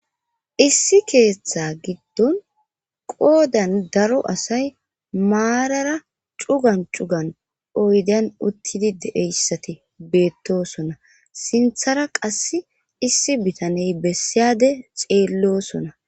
Issi keeththa giddon qoodan daro asay maarara cugan cugan oydan uttidi deeyssati beettosona sinthara qass issi bitaney bessiyade xeellosona.